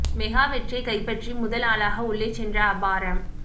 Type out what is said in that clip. mega வெற்றியை கைப்பற்றி முதல் ஆளாக உள்ளே சென்ற அபாரம்